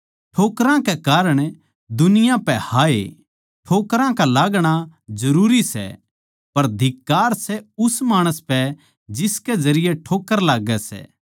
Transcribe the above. ठोकरां कै कारण दुनिया पै हाय ठोकरां का लागणा जरूरी सै पर धिक्कार सै उस माणस पै जिसकै जरिये ठोक्कर लाग्गै सै